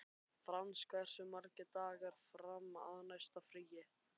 Frans, hversu margir dagar fram að næsta fríi?